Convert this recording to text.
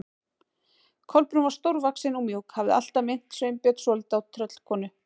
Kolbrún var stórvaxin og mjúk, hafði alltaf minnt Sveinbjörn svolítið á tröllkonu.